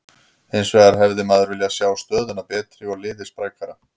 Hinsvegar hefði maður viljað sjá stöðuna betri og liðið sprækara.